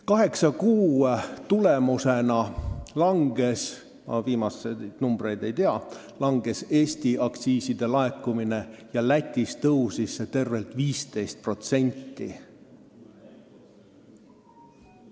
Kaheksa kuu tulemusena – ma viimaseid numbreid ei tea – Eestis aktsiiside laekumine kahanes, aga Lätis kasvas see tervelt 15%.